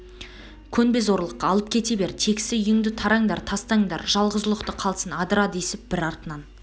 көнбе зорлыққа алып кете бер тегсі үйіңді тараңдар тастаңдар жалғыз ұлықты қалсын адыра десіп бір артынан